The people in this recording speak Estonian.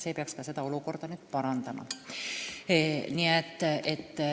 See peaks nüüd olukorda parandama.